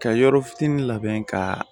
Ka yɔrɔ fitinin labɛn ka